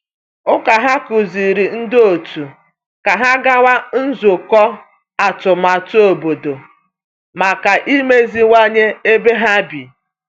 Ụka ya kụziri ndị otu ka ha gawa nzukọ atụmatụ obodo maka imeziwanye ebe ha bi.